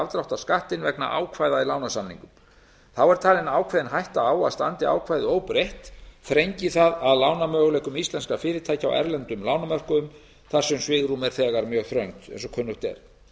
afdráttarskattinn vegna ákvæða í lánasamningum þá er talin ákveðin hætta á að standi ákvæðið óbreytt þrengi það að lánamöguleikum íslenskra fyrirtækja á erlendum lánamörkuðum þar sem svigrúm er þegar mjög þröngt eins og kunnugt er